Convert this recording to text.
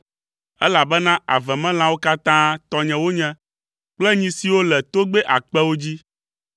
elabena avemelãwo katã tɔnye wonye, kple nyi siwo le togbɛ akpewo dzi.